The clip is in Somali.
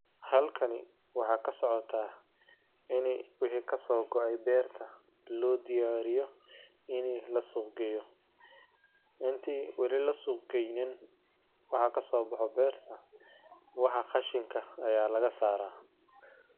Halkani waxaa ka socotaa inay wihi ka soo go'ey beerta, loo diyaariyo inay la suuq geyo. Intii weli la suuq gaynin, waxaa ka soo baxo beerta. Waxaa khashinka ayaa laga saaraa.